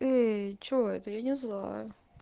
эй что это я не злая